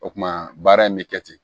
O kumana baara in bɛ kɛ ten